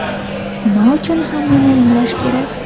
Nima uchun hammani emlash kerak?